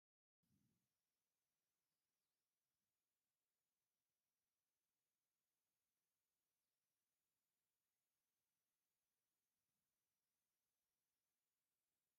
ፎቶ ዋልታ ዝብል ባነር ኣብ መንድቅ ተለጢፉ ኣሎ ። ብየማንን ፀጋምን እቲ በሪ ዝተለጠፈ ፎቶ ኣሎ ። ናይ ሓደ ፎቶ ዋጋ ክንደይ እዩ ?